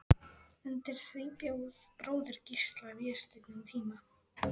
Undir því bjó bróðir Gísla, Vésteinn, um tíma.